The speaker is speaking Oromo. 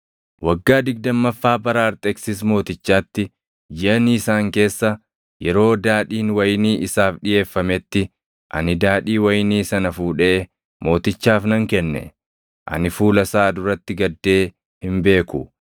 Waggaa digdammaffaa bara Arxeksis Mootichaatti jiʼa Niisaan keessa yeroo daadhiin wayinii isaaf dhiʼeeffametti ani daadhii wayinii sana fuudhee mootichaaf nan kenne. Ani fuula isaa duratti gaddee hin beeku;